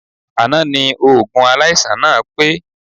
Àná ni oògùn aláìsàn náà pé